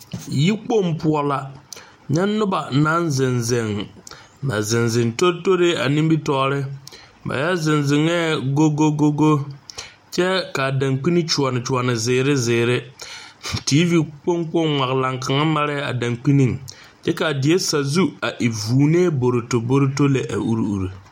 Yikpoŋ poɔ la nyɛ noba naŋ zeŋ zeŋ, ba zeŋ zeŋ tore a nimitɔreŋ ba yɔ zeŋ zeŋɛ gogogo kyɛ kaa dankyine tɔnne zeɛre zeɛre TV kpoŋ kaŋa ŋmalaŋ kaŋa. mare la a dankyine kyɛ kaa die sazu a e vʋʋne boroto boroto lɛ a uri uri.